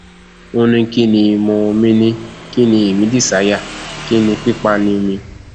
ó ní kín ni mo mìíní kín ní èmi dísáyà kín ní pípáàní mi